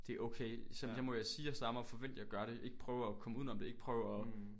Det okay så må jeg sige jeg stammer og forvente jeg gør det ikke prøve at komme uden om det ikke prøve at